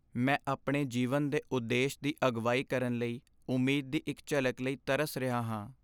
ਮੈਂ ਆਪਣੇ ਜੀਵਨ ਦੇ ਉਦੇਸ਼ ਦੀ ਅਗਵਾਈ ਕਰਨ ਲਈ ਉਮੀਦ ਦੀ ਇੱਕ ਝਲਕ ਲਈ ਤਰਸ ਰਿਹਾ ਹਾਂ।